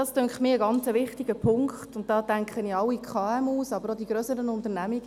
Das scheint mir ein ganz wichtiger Punkt, und da denke ich an alle KMU, aber auch an die grösseren Unternehmungen.